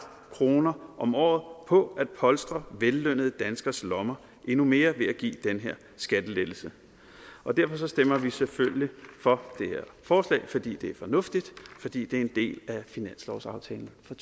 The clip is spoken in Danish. kroner om året på at polstre vellønnede danskeres lommer endnu mere ved at give den her skattelettelse derfor stemmer vi selvfølgelig for det her forslag fordi det er fornuftigt og fordi det er en del af finanslovsaftalen for